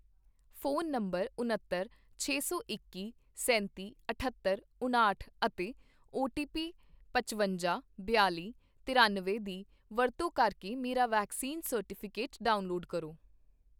phone number ਉਣੱਤਰ, ਛੇ ਸੌ ਇੱਕੀ, ਸੈਂਤੀ, ਅਠੱਤਰ, ਉਣਾਹਠ ਅਤੇ ਓਟੀਪੀ ਪਚਵੰਜਾ, ਬਿਆਲ਼ੀ, ਤਰਿਅਨਵੇਂ ਦੀ ਵਰਤੋਂ ਕਰਕੇ ਮੇਰਾ ਵੈਕਸੀਨ ਸਰਟੀਫਿਕੇਟ ਡਾਊਨਲੋਡ ਕਰੋ